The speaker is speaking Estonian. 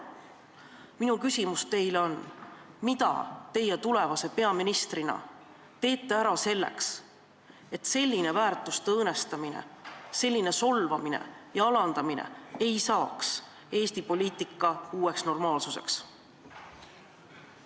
Minu küsimus teile on: mida teie tulevase peaministrina teete ära selleks, et selline väärtuste õõnestamine, selline solvamine ja alandamine ei saaks Eesti poliitikas uueks normaalsuseks?